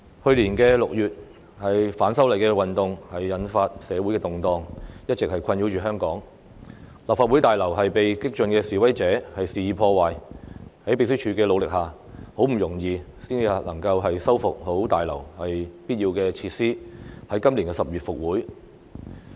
去年6月，反修例運動引發社會動盪，並一直困擾香港，立法會大樓被激進的示威者肆意破壞，在秘書處努力下，很不容易才修復了大樓必要的設施，在今年10月復會。